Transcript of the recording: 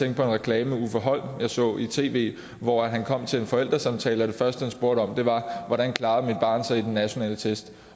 en reklame med uffe holm jeg så i tv hvor han kom til en forældresamtale og det første han spurgte om var hvordan klarer mit barn sig i den nationale test